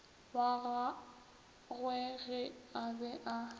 wa gagwege a be a